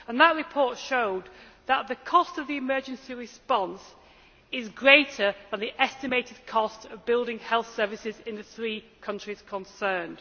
That report showed that the cost of the emergency response is greater than the estimated cost of building health services in the three countries concerned.